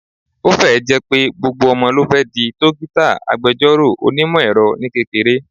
Ó fẹ́ ẹ̀ jẹ́ pé gbogbo ọmọ ló fẹ́ di, dókítà, agbẹjọ́rò, onímọ̀ - ẹ̀rọ ní kékeré